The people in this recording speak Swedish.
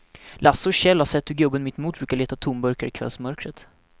Lasse och Kjell har sett hur gubben mittemot brukar leta tomburkar i kvällsmörkret.